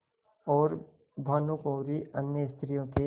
और भानुकुँवरि अन्य स्त्रियों के